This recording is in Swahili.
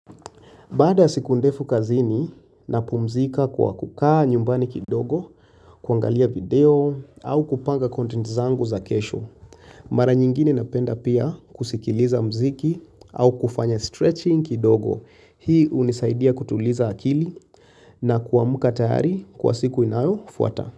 Baada siku ndefu kazini na pumzika kwa kukaa nyumbani kidogo, kuangalia video au kupanga content zangu za kesho. Mara nyingine napenda pia kusikiliza mziki au kufanya stretching kidogo. Hii unisaidia kutuliza akili na kuamuka tayari kwa siku inayo fuata.